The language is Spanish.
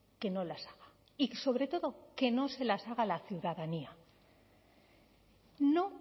que no las haga y sobre todo que no se las haga a la ciudadanía no